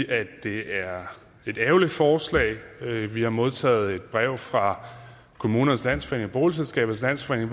at det er et ærgerligt forslag vi har modtaget et brev fra kommunernes landsforening og boligselskabernes landsforening